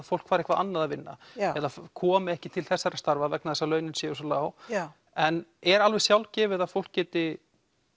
fólk fari eitthvað annað að vinna eða komi ekki til þessarar starfa vegna þess að launin séu svo lág en er alveg sjálfgefið að fólk geti